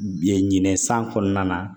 Biyɛn ɲinɛ san kɔnɔna na